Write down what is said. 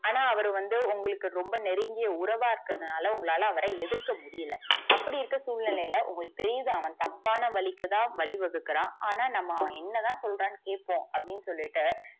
ஆனா அவரு வந்து உங்களுக்கு ரொம்ப நெருங்கிய உறவா இருக்கறதுனால உங்களால அவர எதிர்க்க முடியல அப்படி இருக்க சுழ்நிலைல உங்களுக்கு தெரிது அவன் தப்பான வழிக்குதா வழி வகுக்குரா ஆனா நம்ம என்னதா சொல்றான்னு கேட்போ அப்டின்னு சொல்லிட்டு,